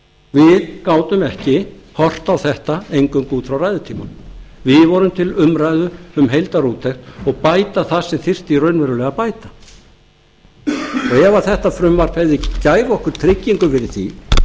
við gátum ekki horft á þetta eingöngu út frá ræðutímanum við vorum til umræðu um heildarúttekt og bæta það sem þyrfti raunverulega að bæta ef þetta frumvarp gæfi okkur tryggingu fyrir því